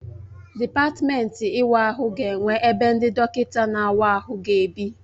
Dịpatmenti ịwa ahụ ga-enwe ebe ndị dọkịta na-awa ahụ ga ebi.